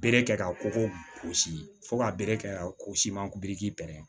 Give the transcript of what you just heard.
Bere kɛ ka ko gosi fo ka bere kɛ ka ko si manki